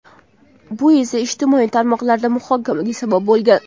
Bu esa ijtimoiy tarmoqlarda muhokamalarga sabab bo‘lgan.